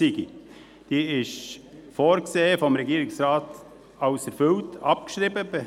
Auf der Liste des Regierungsrates ist vorgesehen, diese als erfüllt abzuschreiben.